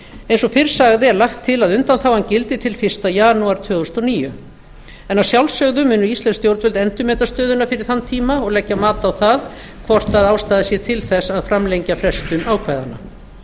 eins og fyrr sagði er lagt til að undanþágan gildi til fyrsta janúar tvö þúsund og níu en að sjálfsögðu munu íslensk stjórnvöld endurmeta stöðuna fyrir þann tíma og leggja mat á það hvort ástæða sé til þess að framlengja frestun ákvæðanna